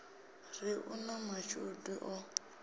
ri u na mashudu o